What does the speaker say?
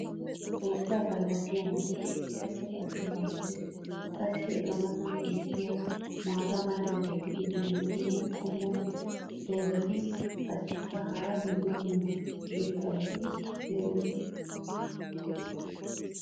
xoossaa qaalaa siyanaassi eqqida cora asay beetees. qassi eta matan beetiya maata mala meray diyo dumma dumma qommo dozzati qassikka hara dumma dumma irxxabati doosona.